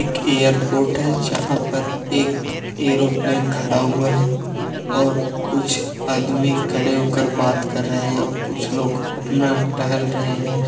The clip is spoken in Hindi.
एक एयरपोर्ट है जहाँ पर एक एरोप्लेन खड़ा हुआ है और कुछ आदमी खड़े होकर बात कर रहे हैं और कुछ लोग अपना टहल रहे हैं।